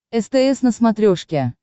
стс на смотрешке